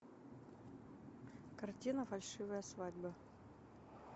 картина фальшивая свадьба